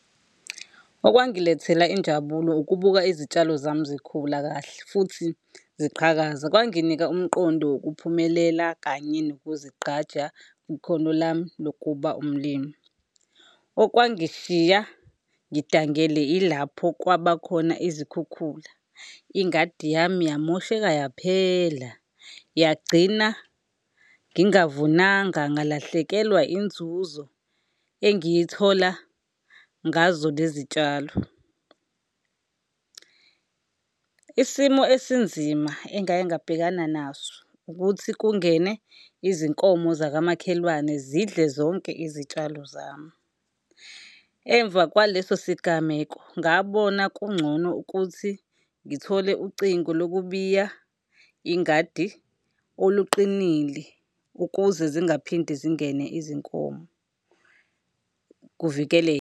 Okwangilethela injabulo ukubuka izitshalo zami zikhula kahle futhi ziqhakaza. Kwanginika umqondo wokuphumelela kanye nokuzigqaja kwikhono lami lokuba umlimi. Okwangishiya ngidangele ilapho kwabakhona izikhukhula. Ingadi yami yamosheka yaphela, yagcina ngingavunanga, ngalahlekelwa inzuzo engiyithola ngazo lezi tshalo. Isimo esinzima engaye ngabhekana naso ukuthi kungene izinkomo zakamakhelwane zidle zonke izitshalo zami. Emva kwaleso sigameko, ngabona kungcono ukuthi ngithole ucingo lokubiya ingadi oluqinile ukuze zingaphinde zingene izinkomo kuvikeleke.